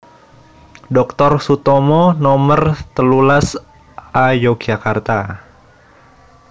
Doktor Sutomo Nomer telulas A Yogyakarta